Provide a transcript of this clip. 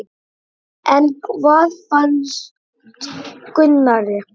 En hvað fannst Gunnari?